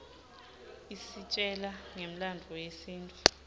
isitjela ngemlandvo yesintfu